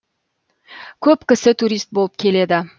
көп кісі турист болып келеді